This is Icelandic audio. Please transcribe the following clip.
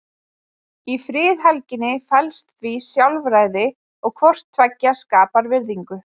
Í friðhelginni felst því sjálfræði og hvort tveggja skapar virðingu.